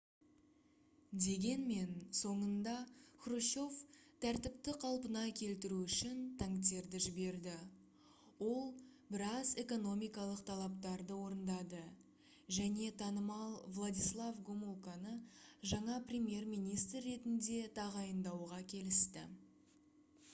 дегенмен соңында хрущев тәртіпті қалпына келтіру үшін танктерді жіберді ол біраз экономикалық талаптарды орындады және танымал владислав гомулканы жаңа премьер-министр ретінде тағайындауға келісті